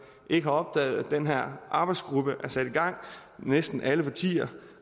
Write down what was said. ikke har opdaget at den her arbejdsgruppe er sat i gang næsten alle partier